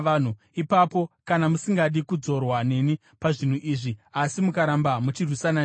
“ ‘Ipapo kana musingadi kudzorwa neni pazvinhu izvi, asi mukaramba muchirwisana neni,